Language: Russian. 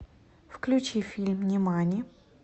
включи фильм нимани